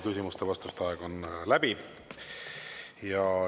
Küsimuste-vastuste aeg on läbi.